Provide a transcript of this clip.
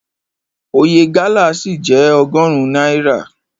Oye gálà ṣì jẹ́ ọgọrun náírà.